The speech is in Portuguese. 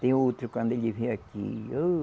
Tem outro, quando ele vem aqui. Ô